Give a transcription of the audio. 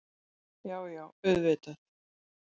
Já, já auðvitað.